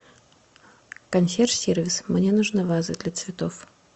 консьерж сервис мне нужна ваза для цветов